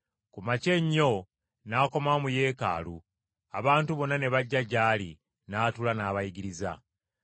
Ku makya ennyo n’akomawo mu Yeekaalu, abantu bonna ne bajja gy’ali, n’atuula n’abayigiriza.